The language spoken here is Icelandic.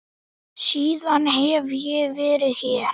Síðan hef ég verið hér.